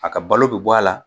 A ka balo be bɔ a la